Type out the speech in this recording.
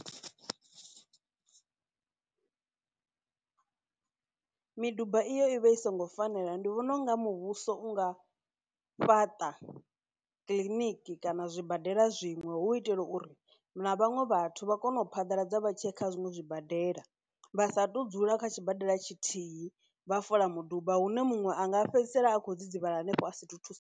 Miduba iyo i vha i songo fanela, ndi vhona unga muvhuso u nga fhaṱa kiḽiniki kana zwibadela zwiṅwe hu u itela uri na vhaṅwe vhathu vha kone u phaḓaladza vha tshi ya kha zwiṅwe zwibadela, vha sa tu dzula kha tshibadela tshithihi vha fola muduba hune muṅwe anga fhedzisela a khou dzidzivhala hanefho a si thu thusi.